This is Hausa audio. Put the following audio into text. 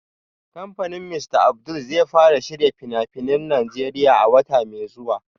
Kamfanin Mr Abdul zai fara shirya fina-finan Najeriya a wata mai zuwa